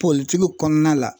Politigi kɔnɔna la.